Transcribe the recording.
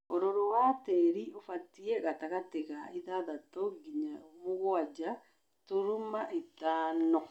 ũrũrũ wa tĩri ũbatie wa gatagatĩ ga ithathatũ nginya mũgwanja turuma ithano.